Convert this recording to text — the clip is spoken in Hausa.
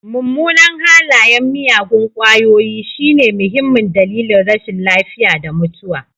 Mummunan halayen miyagun ƙwayoyi shine muhimmin dalilin rashin lafiya da mutuwa.